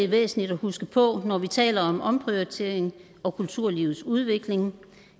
væsentligt at huske på når vi taler om omprioritering og kulturlivets udvikling